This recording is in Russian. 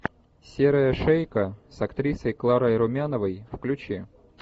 серая шейка с актрисой кларой румяновой включи